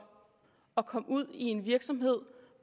at komme ud i en virksomhed